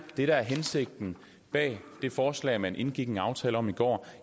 det der er hensigten bag det forslag man indgik i en aftale om i går